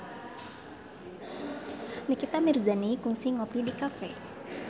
Nikita Mirzani kungsi ngopi di cafe